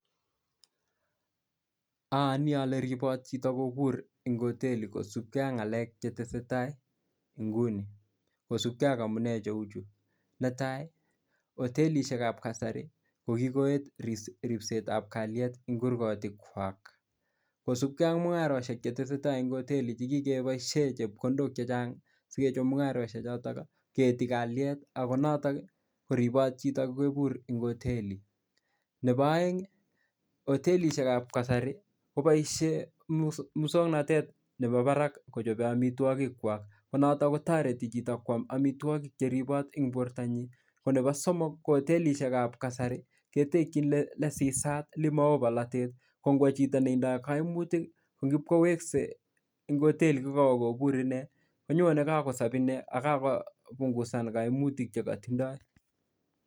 Ayoni ale ribot chito kobur eng oteli kosupke ak ngalek che tesetai inguni kosupke ak amune cheu chu. Netai ko otelisiekab kasari ko kikogoyai ripsetab kalyet eng kurgotikwak. Kosipke ak mungarosiek cheteseta eng oteli che kikeboisien chepkondok chechang sikechob mungaroisiechoton, kieti kalyet agonotok ko ribot chito kokebur eng oteli. Neboaeng hotelisiekab kasari kobaisie muswognatet nebo barak kochoben amitwogik. Konoto kotareti chito kwam amitwogik cheribot eng bortanyi. Konebo soomok ko otelisiekab kasari ketekyin lesisat, lemao bolatet. Kongwo chito netindo kaimutik, ko ngipkowekse eng oteli ko koakobur inne, konyone kaa kokakosob inne ak kopungusan kaimutik chekatindoi.